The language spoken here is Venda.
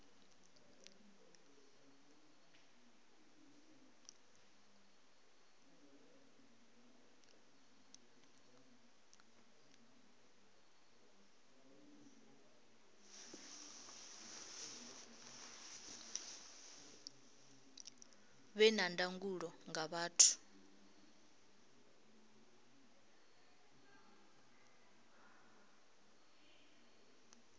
vhe na ndangulo nga vhathu